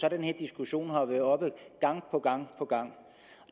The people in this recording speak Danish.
at den her diskussion har været oppe gang på gang